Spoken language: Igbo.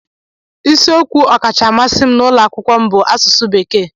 Isiokwu ọkacha mmasị m n'ụlọ akwụkwọ bụ Asụsụ Bekee